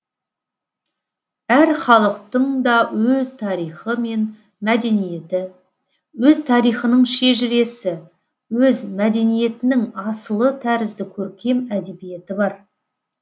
әр халықтың да өз тарихы мен мәдениеті өз тарихының шежіресі өз мәдениетінің асылы тәрізді көркем әдебиеті бар